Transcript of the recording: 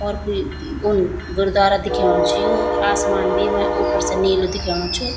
और कुई उन गुरद्वारा दिख्येणु च यो आसमान भी येमा ऊपर से नीलू दिख्येणु च।